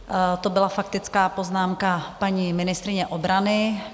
To byla faktická poznámka paní ministryně obrany.